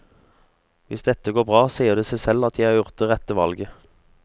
Hvis dette går bra, sier det seg selv at jeg har gjort det rette valget.